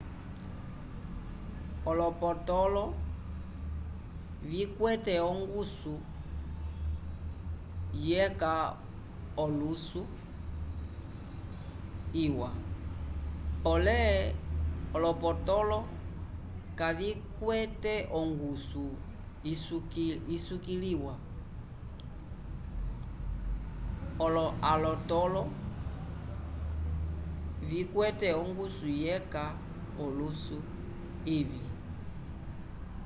olopotõlo vikwete ongusu yeca olusu iwa pole olonotõlo kavikwete ongusu isukiliwa alotõlo vikwete ongusu yeca olusu ivĩ